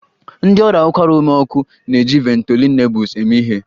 Ndị ọrịa ụkwara ume ọkụ na-eji Ventolin Nebules eme ihe